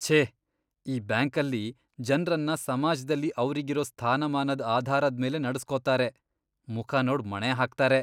ಛೇ! ಈ ಬ್ಯಾಂಕಲ್ಲಿ ಜನ್ರನ್ನ ಸಮಾಜ್ದಲ್ಲಿ ಅವ್ರಿಗಿರೋ ಸ್ಥಾನಮಾನದ್ ಆಧಾರದ್ಮೇಲೆ ನಡೆಸ್ಕೊತಾರೆ, ಮುಖ ನೋಡ್ ಮಣೆ ಹಾಕ್ತಾರೆ.